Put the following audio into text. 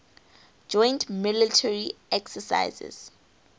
joint military exercises